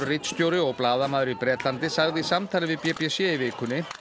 ritstjóri og blaðamaður í Bretlandi sagði í samtali við b b c í vikunni